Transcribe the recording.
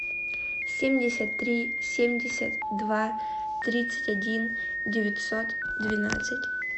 семьдесят три семьдесят два тридцать один девятьсот двенадцать